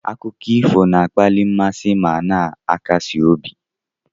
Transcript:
Akụkọ ifo na-akpali mmasị ma na-akasi obi.